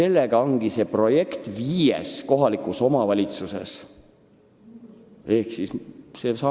Nii ongi see viies kohalikus omavalitsuses käivitatud projekt nagu pool muna.